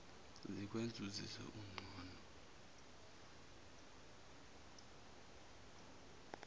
sikwenze uzizwe ungcono